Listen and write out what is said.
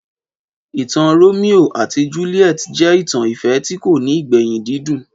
Ìtàn Romeo àti Juliet jẹ́ ìtàn ìfẹ́ tí kò ní ìgbẹ̀yìn dídùn